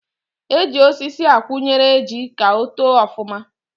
E ji osisi akwụnyere ji ka o too ọfụma